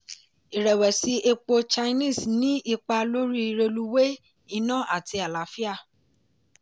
irẹ̀wẹ̀si epo chinese ní ipa lórí reluwee iná àti àlàáfíà.